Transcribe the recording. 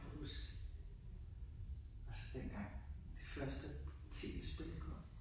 Kan du huske altså dengang de første tv spil kom?